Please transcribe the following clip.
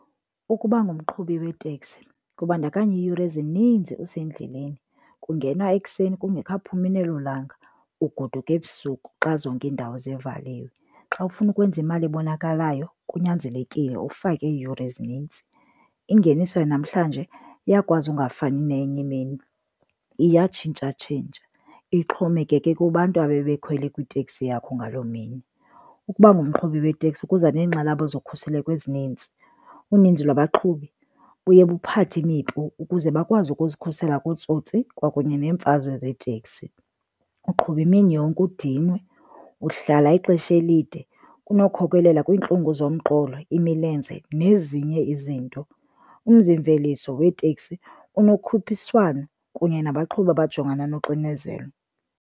Ukuba ngumqhubi weteksi kubandakanya iiyure ezininzi usendleleni, kungenwa ekuseni kungekaphumi nelolanga ugoduke ebusuku xa zonke iindawo zivaliwe. Xa ufuna ukwenza imali ebonakalayo kunyanzelekile ufake iiyure ezinintsi. Ingeniso yanamhlanje iyakwazi ungafani neyenye imini, iyatshintshatshintsha, ixhomekeke kubantu abebekhwele kwiteksi yakho ngaloo mini. Ukuba ngumqhubi weteksi kuza neenkxalabo zokhuseleko ezinintsi. Uninzi lwabaqhubi buye buphathe imipu ukuze bakwazi ukuzikhusela kootsotsi kwakunye neemfazwe zeeteksi. Uqhuba imini yonke udinwe, uhlala ixesha elide kunokukhokelela kwiintlungu zomqolo, imilenze nezinye izinto. Umzimveliso weeteksi unokhuphiswano kunye nabaqhubi abajongana noxinezelo.